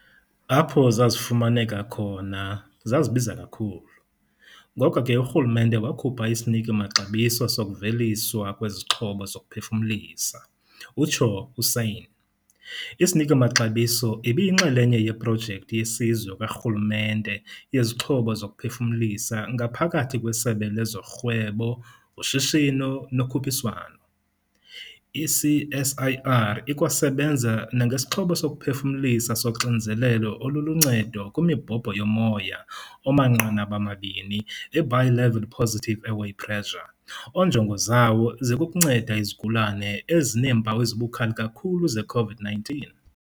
"Apho zazifumaneka khona, zazibiza kakhulu, ngoko ke urhulumente wakhupha isiniki-maxabiso sokuveliswa kwezixhobo zokuphefumlisa," utsho uSanne. Isiniki-maxabiso ibiyinxalenye yeProjekthi yeSizwe karhulumente yeziXhobo zokuPhefumlisa ngaphakathi kweSebe lezoRhwebo, uShishino noKhuphiswano. I-CSIR ikwasebenza nangesixhobo sokuphefumlisa soXinzelelo oluluNcedo kwiMibhobho yoMoya omaNqanaba-mabini, i-Bi-level Positive Airway Pressure, onjongo zawo zikukunceda izigulane ezineempawu ezibukhali kakhulu ze-COVID-19.